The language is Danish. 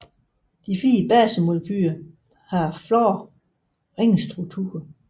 De fire basemolekyler har flade ringstrukturer